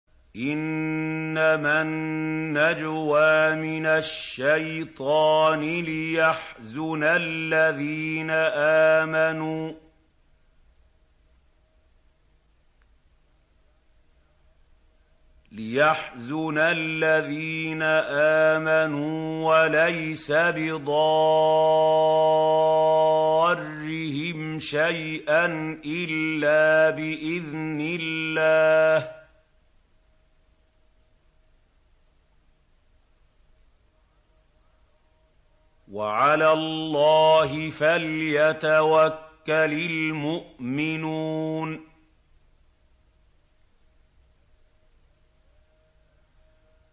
إِنَّمَا النَّجْوَىٰ مِنَ الشَّيْطَانِ لِيَحْزُنَ الَّذِينَ آمَنُوا وَلَيْسَ بِضَارِّهِمْ شَيْئًا إِلَّا بِإِذْنِ اللَّهِ ۚ وَعَلَى اللَّهِ فَلْيَتَوَكَّلِ الْمُؤْمِنُونَ